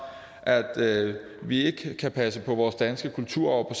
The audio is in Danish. at vi ikke kan passe på vores danske kulturarv